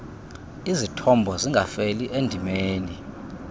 izithombo zingafeli endimeni